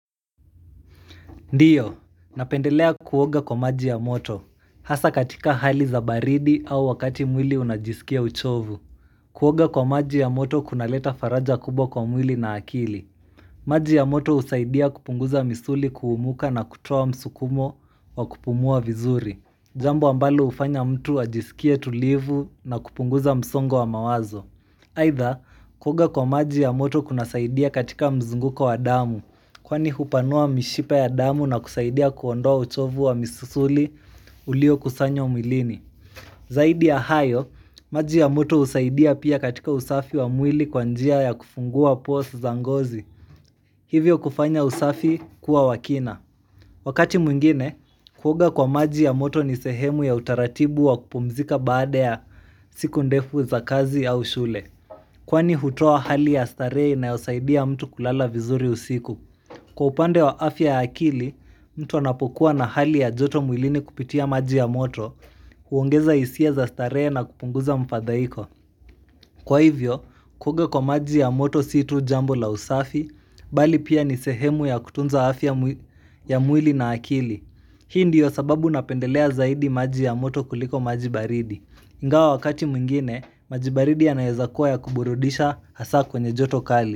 Ndio, napendelea kuoga kwa maji ya moto. Hasa katika hali za baridi au wakati mwili unajisikia uchovu. Kuoga kwa maji ya moto kunaleta faraja kubwa kwa mwili na akili. Maji ya moto husaidia kupunguza misuli kuumuka na kutua msukumo wa kupumua vizuri. Jambo ambalo hufanya mtu ajisikie tulivu na kupunguza msongo wa mawazo. Aitha, kuoga kwa maji ya moto kunasaidia katika mzunguko wa damu. Kwani hupanua mishipa ya damu na kusaidia kuondoa uchovu wa misuli ulio kusanya mwilini Zaidi ya hayo, maji ya moto husaidia pia katika usafi wa mwili kwa njia ya kufungua pores za ngozi Hivyo kufanya usafi kuwa wakina Wakati mwingine, kuoga kwa maji ya moto ni sehemu ya utaratibu wa kupumzika baada ya siku ndefu za kazi au shule Kwani hutoa hali ya starehe inayo saidia mtu kulala vizuri usiku. Kwa upande wa afya ya akili, mtu anapokuwa na hali ya joto mwilini kupitia maji ya moto, huongeza hisia za starehe na kupunguza mfadhaiko. Kwa hivyo, kuoga kwa maji ya moto si tu jambo la usafi, bali pia ni sehemu ya kutunza afya ya mwili na akili. Hii ndiyo sababu napendelea zaidi maji ya moto kuliko maji baridi. Ingawa wakati mwingine, maji baridi yanaweza kuwa ya kuburudisha hasa kwenye joto kali.